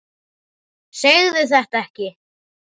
Segðu þetta ekki.